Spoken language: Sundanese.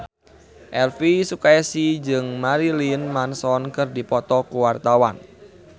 Elvy Sukaesih jeung Marilyn Manson keur dipoto ku wartawan